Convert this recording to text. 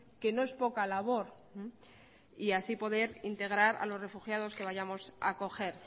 que no es poca labor y así poder integrar a los refugiados que vayamos a acoger